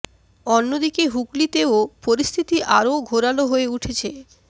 অন্য দিকে হুগলিতেও পরিস্থিতি আরও ঘোরালো হয়ে উঠেছে